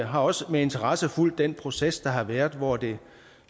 har også med interesse fulgt den proces der har været hvor det